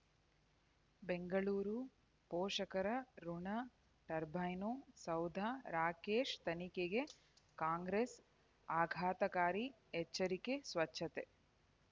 ಬೆಂಗಳೂರು ಪೋಷಕರಋಣ ಟರ್ಬೈನು ಸೌಧ ರಾಕೇಶ್ ತನಿಖೆಗೆ ಕಾಂಗ್ರೆಸ್ ಆಘಾತಕಾರಿ ಎಚ್ಚರಿಕೆ ಸ್ವಚ್ಛತೆ